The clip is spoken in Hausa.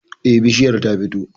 Eh, bishiyar ta fito